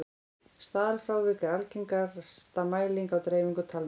staðalfrávik er algengasta mæling á dreifingu talna